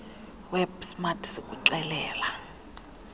web smart sikuxelela